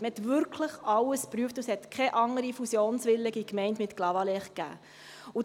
Man hat wirklich alles geprüft, und es gab keine andere fusionswillige Gemeinde für Clavaleyres.